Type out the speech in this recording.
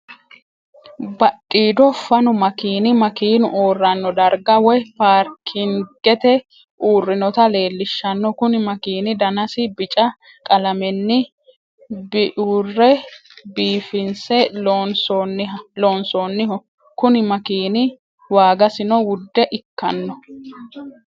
Badhiido fanu makinni makinu uurano dariga woyi paarikingete uurinotta leelishano kuni makini danasi bicca qalamenni biure biifinse loonsonniho kuni makini waagasino wude ikkano